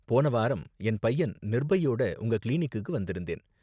போன வாரம் என் பையன் நிர்பையோட உங்க கிளினிக்குக்கு வந்திருந்தேன்.